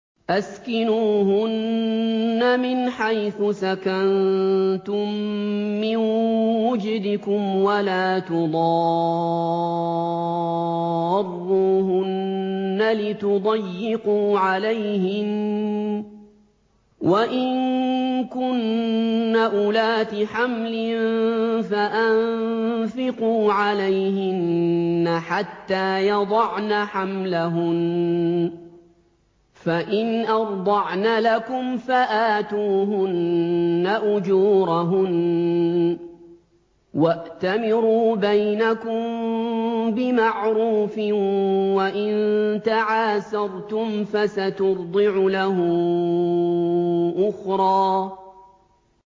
أَسْكِنُوهُنَّ مِنْ حَيْثُ سَكَنتُم مِّن وُجْدِكُمْ وَلَا تُضَارُّوهُنَّ لِتُضَيِّقُوا عَلَيْهِنَّ ۚ وَإِن كُنَّ أُولَاتِ حَمْلٍ فَأَنفِقُوا عَلَيْهِنَّ حَتَّىٰ يَضَعْنَ حَمْلَهُنَّ ۚ فَإِنْ أَرْضَعْنَ لَكُمْ فَآتُوهُنَّ أُجُورَهُنَّ ۖ وَأْتَمِرُوا بَيْنَكُم بِمَعْرُوفٍ ۖ وَإِن تَعَاسَرْتُمْ فَسَتُرْضِعُ لَهُ أُخْرَىٰ